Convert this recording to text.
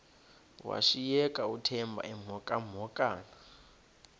washiyeka uthemba emhokamhokana